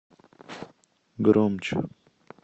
громче